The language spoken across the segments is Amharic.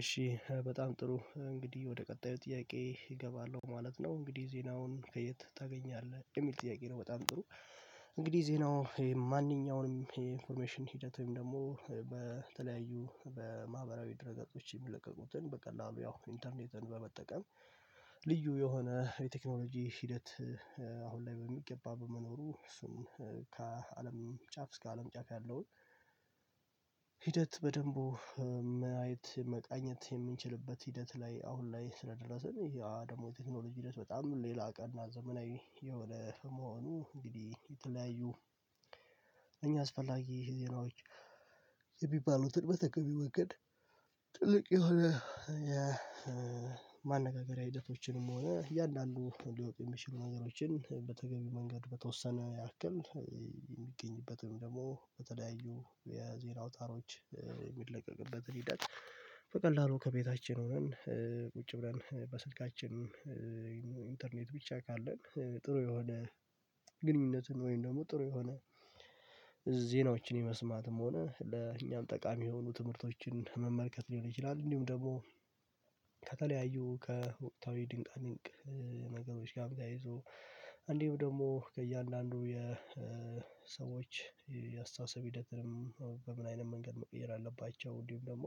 እሺ በጣም ጥሩ እንግዲህ ወደ ቀጣዩ ጥያቄ እገባለሁ ማለት ነው እንግዲህ ዜናውን ከየት ታገኛለህ የሚል ጥያቄ ነው በጣም ጥሩ። እንግዲህ ዜናው ይሄ ማንኛውንም የኢንፎርሜሽን ሂደት ወይም ደግሞ በተለያዩ በማህበራዊ ድረገጾች የሚለቀቁትን በቀላሉ ያው ኢንተርኔትን በመጠቀም ልዩ የሆነ የቴክኖሎጂ ሂደት አሁን ላይ በሚገባ በመኖሩ እሱን ከአለም ጫፍ እስከ አለም ጫፍ ያለውን። ሂደት በደንቡ ማየት መቃኘት የምንችልበት ሂደት ላይ አሁን ላይ ስለደረስን ይሄ ደግሞ የቴክኖሎጂ ሂደት በጣም ሌላ ቀን ዘመናዊ የሆነ በመሆኑ እንግዲህ የተለያዩ እኝህ አስፈላጊ ዜናዎች የሚባሉትን በተገቢ መንገድ ትልቅ የሆነ የማነጋገሪያ ሂደቶችንም ሆነ እያንዳንዱ ሊወጡ የሚችሉ ነገሮችን በተገቢ መንገድ በተወሰነ ያክል። ደግሞ በተለያዩ የዜና አውታሮች የሚለቀቅበትን ሂደት በቀላሉ ከቤታችን ሆነን ቁጭ ብለን በስልካችን ኢንተርኔት ብቻ ካለን ጥሩ የሆነ ግንኙነቱን ወይም ደግሞ ጥሩ የሆነ ዜናዎችን የመስማትም ሆነ ለእኛም ጠቃሚ የሆኑ ትምህርቶችን መመልከት ሊሆን ይችላል። እንዲሁም ደግሞ ከተለያዩ ከወቅታዊ ድንቃድንቅ ነገሮች ጋር ተያይዞ እንዲሁ ደግሞ ከእያንዳንዱ የሰዎች የአስተሳሰብ ሂደትንም በምን አይነት መንገድ መቀየር አለባቸው እንዲሁም ደግሞ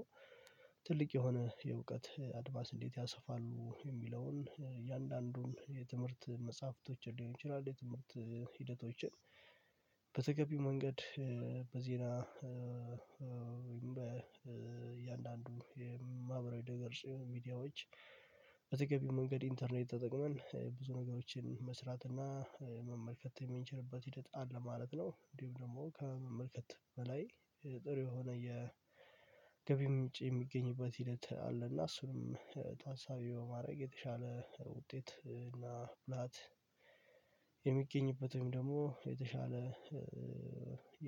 ትልቅ የሆነ የእውቀት አድቫንስ እንዴት ያሰፋሉ የሚለውን እያንዳንዱን የትምህርት መጽሐፍቶችን ሊሆን ይችላል የትምህርት ሂደቶችን። በተገቢው መንገድ በዜና በእያንዳንዱ የማህበራዊ ድህረገጽ ሚዲያዎች በተገቢው መንገድ ኢንተርኔት ተጠቅመን ብዙ ነገሮችን መስራት እና መመልከት የሚንችልበት ሂደት አለ ማለት ነው። እንዲሁ ደግሞ ከመመልከት በላይ ጥሩ የሆነ የገቢ ምንጭ የሚገኝበት ሂደት አለና እሱንም ታሳቢ በማድረግ የተሻለ ውጤት እና ብላት የሚገኝበት ወይም ደግሞ የተሻለ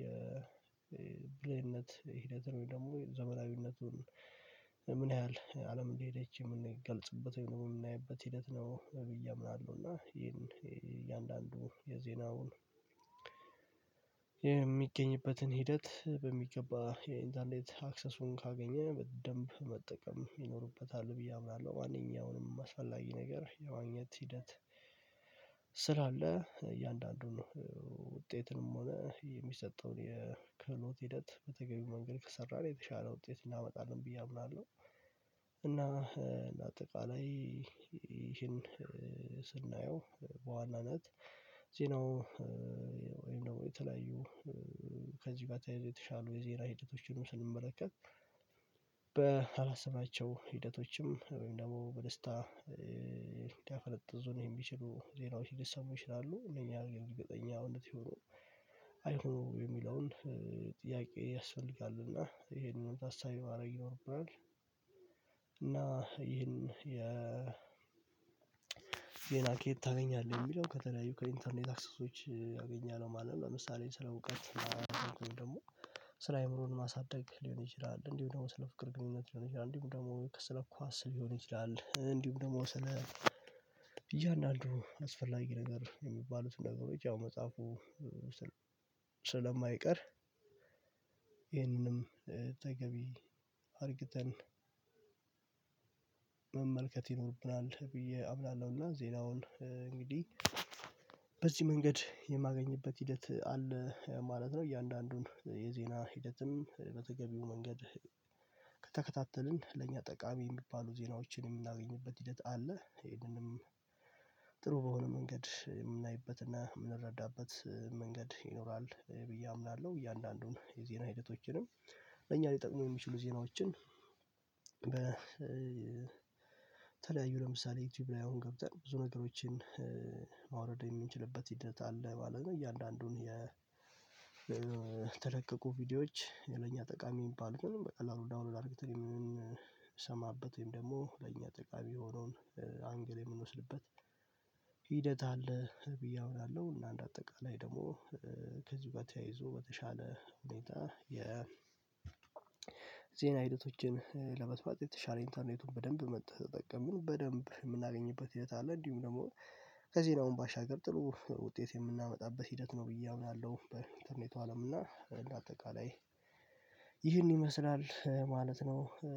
የብልህነት ሂደት ነው። ወይ ደግሞ ዘመናዊነቱን ምን ያህል አለም እንደሄደች የምንገልጽበት ወይ ነው የምናይበት ሂደት ነው ብዬ አምናለሁ። እና ይሄን እያንዳንዱ የዜናውን የሚገኝበትን ሂደት በሚገባ የኢንተርኔት አክሰሱን ካገኘ በደንብ መጠቀም ይኖርበታል ብዬ አምናለሁ። ዋናኛውንም አስፈላጊ ነገር የማግኘት ሂደት ስላለ እያንዳንዱን ነው ውጤትንም ሆነ የሚሰጠውን የክህሎት ሂደት በተገቢው መንገድ ከሰራን የተሻለ ውጤት እናመጣለን ብዬ አምናለሁ። እና እንደ አጠቃላይ ይህን ስናየው በዋናነት ዜናው ነው ወይም ደግሞ የተለያዩ ከዚህ ጋር ተያይዞ የተሻሉ የዜና ሂደቶችንም ስንመለከት በአላሰባቸው ሂደቶችም ወይም ደግሞ በደስታ ሊያፈነጥዙን የሚችሉ ዜናዎች ሊሰሙ ይችላሉ እነኛ ግን እርግጠኛ እውነት ይሁኑ አይሁኑ የሚለውን ጥያቄ ያስፈልጋሉ እና ይሄንን ታሳቢ ማድረግ ይኖርብናል። እና ይሄን የ ዜና ከየት ታገኛለህ የሚለው ከተለያዩ ከኢንተርኔት አክሰሶች አገኛለሁ ማለት ነው። ለምሳሌ ስለ እውቀት ወይም ደግሞ ስለ አእምሮን ማሳደግ ሊሆን ይችላል እንዲሁ ደግሞ ስለ ፍቅር ግንኙነት ሊሆን ይችላል እንዲሁ ደግሞ ከስለ ኳስ ሊሆን ይችላል እንዲሁም ደግሞ ስለ እያንዳንዱ አስፈላጊ ነገር የሚባሉት ነገሮች ያው መጽሐፉ ስለማይቀር ይሄንንም ተገቢ አርግተን መመልከት ይኖርብናል ብዬ አምናለሁና። ዜናውን እንግዲህ በዚህ መንገድ የማገኝበት ሂደት አለ ማለት ነው። እያንዳንዱን የዜና ሂደትም በተገቢው መንገድ ከተከታተልን ለእኛ ጠቃሚ የሚባሉ ዜናዎችን የምናገኝበት ሂደት አለ ይህንንም ጥሩ በሆነ መንገድ የምናይበትና የምንረዳበት መንገድ ይኖራል ብዬ አምናለሁ። እያንዳንዱን የዜና ሂደቶችንም ለኛ ሊጠቅሙ የሚችሉ ዜናዎችን በተለያዩ ለምሳሌ ዩቲዩብ ላይ አሁን ገብተን ብዙ ነገሮችን ማውረድ የምንችልበት ሂደት አለ ማለት ነው። እያንዳንዱን የተለቀቁ ቪዲዮዎች የለኛ ጠቃሚ የሚባል በቀላሉ ዳውንሎድ አድርጌታል የምንሰማበት ወይም ደግሞ ለእኛ ጠቃሚ የሆነውን አንግል የምንወስድበት ሂደት አለ ብዬ አምናለሁ። እና እንደ አጠቃላይ ደግሞ ከዚህ ጋር ተያይዞ በተሻለ ሁኔታ ዜና ሂደቶችን ለመስማት የተሻለ ኢንተርኔቱን በደንብ ከተጠቀምን በደንብ የምናገኝበት ሂደት አለ እንዲሁም ደግሞ ከዜናውም ባሻገር ጥሩ ውጤት የምናመጣበት ሂደት ነው ብዬ አምናለሁ። በኢንተርኔቱ አለም እና እንደ አጠቃላይ ይህን ይመስላል ማለት ነው።